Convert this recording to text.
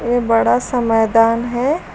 ये बड़ा सा मैदान है।